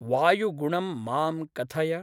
वायुगुणं मां कथय